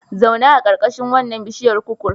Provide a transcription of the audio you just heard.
Zauna a ƙarƙashin wannan biishiyar kukur.